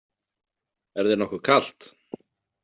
Er þér nokkuð kalt?